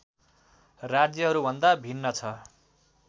राज्यहरूभन्दा भिन्न छ